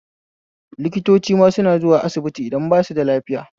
Likitocima suna zuwa asibiti idan basu da lafiya